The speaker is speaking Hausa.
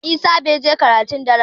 Jiya Isah bai je karatun dare ba